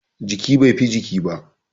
Jiki, bai fi jiki ba